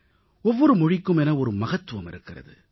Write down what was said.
ஒவ்வொரு மொழிக்கும் என ஒரு மகத்துவம் இருக்கிறது